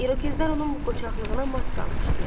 İrokezlər onun bu qoçaqlığına mat qalmışdılar.